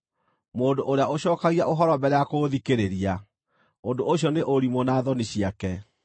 Mũndũ ũrĩa ũcookagia ũhoro mbere ya kũũthikĩrĩria, ũndũ ũcio nĩ ũrimũ na thoni ciake.